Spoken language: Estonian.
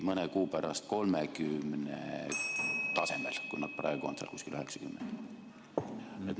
Mõne kuu pärast kaubeldi 30 tasemel, praegu on nad kuskil 90 tasemel.